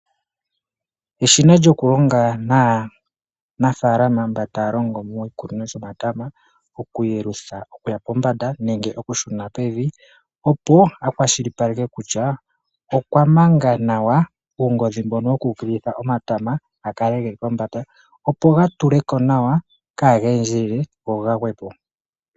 Eshina lyoku longa naanafalama mba taa longo moshikunino shomatama, oku yelutha okuya pombanda nenge oku shuna pevi. Opo a kwashilipaleke kutya okwa manga nawa uungodhi mbono woku ukililitha nawa omatama ga kale geli pombanda opo ga tuleko nawa kaaga endjelele go gagweko.